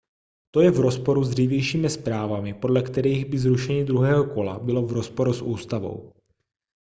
to je v rozporu s dřívějšími zprávami podle kterých by zrušení druhého kola bylo v rozporu s ústavou